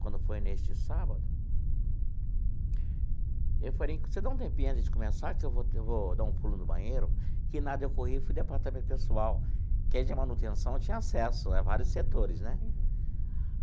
Quando foi neste sábado, eu falei, você dá um tempinho antes de começar, que eu vou eu vou dar um pulo no banheiro, que nada eu corri fui no Departamento Pessoal, quem é de manutenção, tinha acesso né vários setores né.